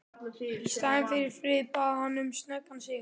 Í staðinn fyrir frið bað hann um snöggan sigur.